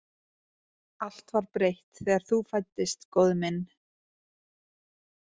Allt var breytt þegar þú fæddist, góði minn